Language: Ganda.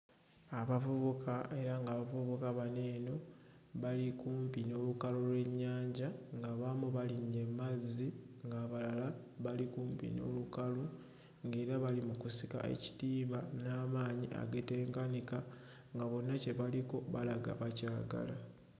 Abavubuka era ng'abavubuka bano eno bali kumpi n'olukalu lw'ennyanja ng'abamu balinnye mmazzi ng'abalala bali kumpi n'olukalu ng'era bali mu kusika ekitimba n'amaanyi agatenkanika nga bonna kye baliko balaga bakyagala.